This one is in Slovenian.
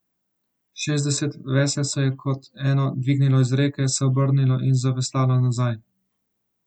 Šestdeset vesel se je kot eno dvignilo iz reke, se obrnilo in zaveslalo nazaj.